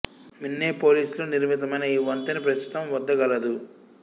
Minneapolis లో నిర్మితమైన ఈ వంతెన ప్రస్తుతం వద్ద గలదు